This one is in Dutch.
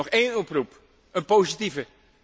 Nog één oproep, een positieve.